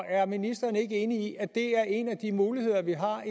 er ministeren ikke enig i at det er en af de muligheder vi har